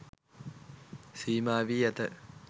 සීමා වී ඇත.